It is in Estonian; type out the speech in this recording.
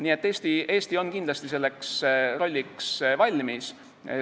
Nii et Eesti on kindlasti selleks rolliks valmis.